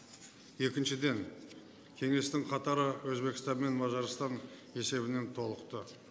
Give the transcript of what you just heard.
екіншіден кеңестің қатары өзбекстан мен мажарстан есебімен толықты